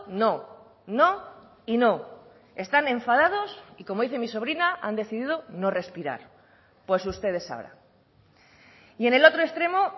no no y no están enfadados y como dice mi sobrina han decidido no respirar pues ustedes sabrán y en el otro extremo